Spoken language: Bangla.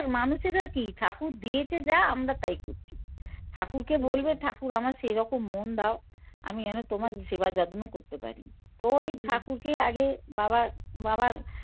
মানুষের আর কি? ঠাকুর দিয়েছে যা আমরা তাই করছি ঠাকুরকে বলবে ঠাকুর আমার সেইরকম মন দাও আমি যেনো তোমার সেবাযত্ন করতে পারি তো ওই ঠাকুরকে আগে বাবা বাবার